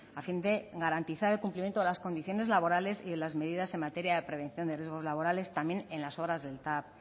a fin de garantizar el cumplimiento de las condiciones laborales y de las medidas en materia de prevención de riesgos laborales también en las obras del tav